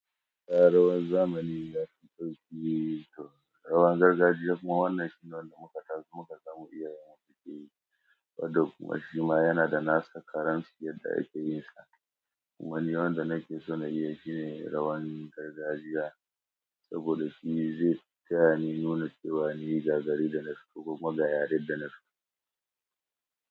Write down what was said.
A'a rawan zamani ya fi sauƙi to rawan gargajiya kuma wannan shine wanda muka taso muka samu iyayenmu suke yi wadanda kuma shima yana da nasa karansa yadda yake yinsa. Kuma ni wanda nake so na yi shine rawan gargajiya saboda shi zai tayani nuna cewa ni ga gari da nafi kuma ga yaranda nafi.